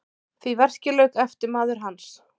Því verki lauk eftirmaður hans